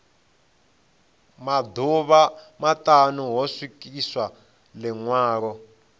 maḓuvha maṱanu ho swikiswa ḽiṅwalo